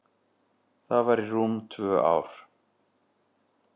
Það var í rúm tvö ár.